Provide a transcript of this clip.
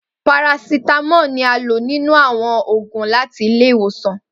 Parasítámọ̀ ni a lò nínú àwọn òògùn láti ilé-ìwòsàn